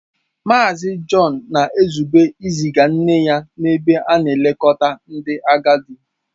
Mazị John na-ezube iziga nne ya n'ebe a na-elekọta ndị agadi.